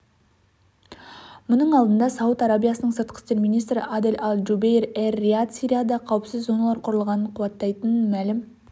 мұның алдында сауд арабиясының сыртқы істер министрі адель аль-джубейр эр-рияд сирияда қауіпсіз зоналар құрылғанын қуаттайтынын мәлім